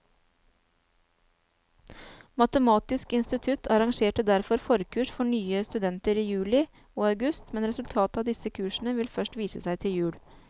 Matematisk institutt arrangerte derfor forkurs for nye studenter i juli og august, men resultatet av disse kursene vil først vise seg til jul.